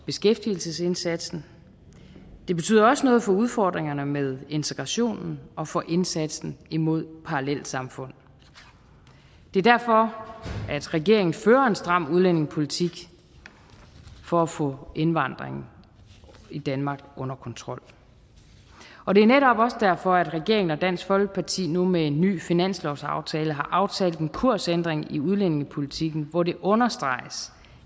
beskæftigelsesindsatsen det betyder også noget for udfordringerne med integrationen og for indsatsen imod parallelsamfund det er derfor at regeringen fører en stram udlændingepolitik for at få indvandringen i danmark under kontrol og det er netop også derfor at regeringen og dansk folkeparti nu med en ny finanslovsaftale har aftalt en kursændring i udlændingepolitikken hvor det understreges